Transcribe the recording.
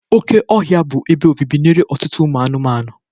Oke ọhịa bụ ebe obibi nye ọtụtụ ụmụ anụmanụ.